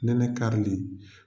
Nɛnɛ karili.